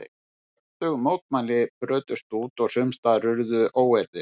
Kröftug mótmæli brutust út og sums staðar urðu óeirðir.